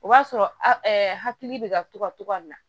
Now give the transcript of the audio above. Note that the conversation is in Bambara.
O b'a sɔrɔ hakili bɛ ka to ka togoya min na